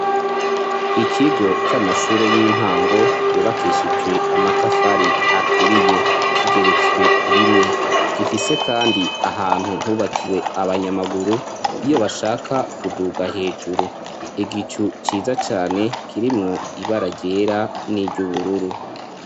Ikigo c'amashure y'intango yubakeshitswe amatafari aturiye kigeretswe rimwe gifise kandi ahantu hubakiwe abanyamaguru iyo bashaka kuduga hejuru, igicu ciza cyane kirimwo ibara ryera n'iry'ubururu.